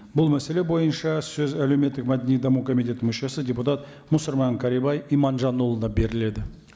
бұл мәселе бойынша сөз әлеуметтік мәдени даму комитетінің мүшесі депутат мұсырман кәрібай иманжанұлына беріледі